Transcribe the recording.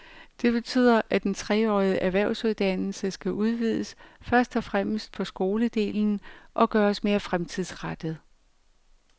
Det betyder, at den treårige erhvervsuddannelse skal udvides, først og fremmest på skoledelen, og gøres mere fremtidsrettet.